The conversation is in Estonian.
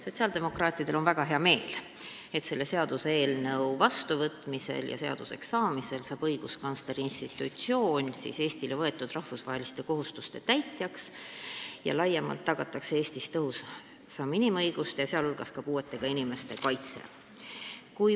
Sotsiaaldemokraatidel on väga hea meel, et selle seaduseelnõu seaduseks saamisel saab õiguskantsleri institutsioon Eestile võetud rahvusvaheliste kohustuste täitjaks ja laiemalt tagatakse Eestis tõhusam inimõiguste, sh puuetega inimeste kaitse.